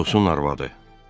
Atosun arvadı.